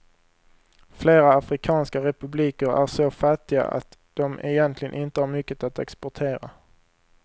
Flera afrikanska republiker är så fattiga att de egentligen inte har mycket att exportera.